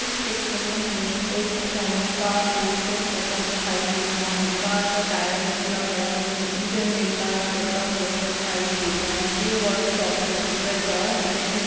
इस चित्र में हमें एक मैकेनिक कार को सही करता दिखाई दे रहा है। कार का टायर निकला पड़ा है। वह इंजन में कार्य करता हुआ दिखाई देता यह वर्कशॉप के अंदर का दृश्य है।